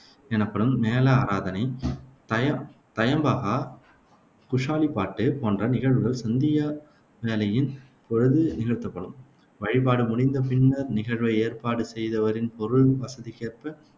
எனப்படும் மேள ஆராதனை, தய தயம்பகா, குஷாலிப்பாட்டு போன்ற நிகழ்வுகள் சந்தியா வேளையின் பொழுது நிகழ்த்தப்படும். வழிபாடு முடிந்த பின்னர், நிகழ்வை ஏற்பாடு செய்தவரின் பொருள் வசதிக்கேற்ப